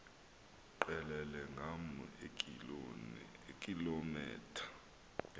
qelele ngama eekilometha